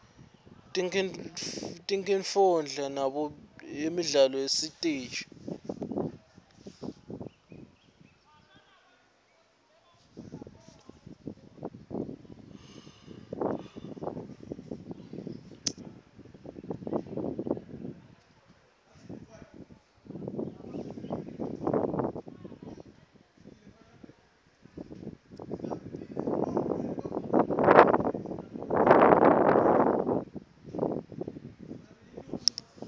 tinkifondla tabo nemidlalo yasesitej